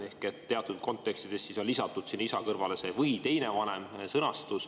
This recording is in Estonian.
Teatud kontekstis on lisatud "isa" kõrvale sõnad "või teine vanem".